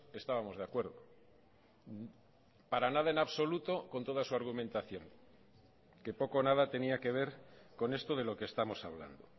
estábamos de acuerdo para nada en absoluto con toda su argumentación que poco o nada tenía que ver con esto de lo que estamos hablando